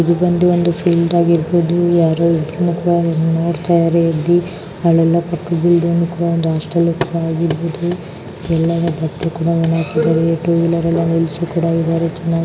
ಇದು ಬಂದು ಒಂದು ಫೀಲ್ಡ್ ಆಗಿರಬಹುದು. ಯಾರೋ ಇಬ್ಬರ್ರು ನೋಡ್ತಾಯಿದ್ದರೆ ಇಲ್ಲಿ. ಯಲ್ಲಾನು ಬಟ್ಟೆ ಕೂಡ ವನಗಾಟಕಿದಾರೆ. ಟೂ ವೀಲರ್ ಎಲ್ಲ ನಿಲ್ಸಿ ಕೂಡ ಇದ್ದಾರೆ ಚೆನ್ನಾಗಿ --